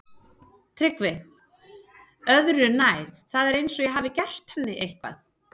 TRYGGVI: Öðru nær, það er eins og ég hafi gert henni eitthvað.